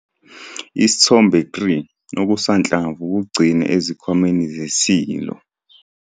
Isithombe 3- Okusanhlamvu kugcine ezikhwameni ze-silo.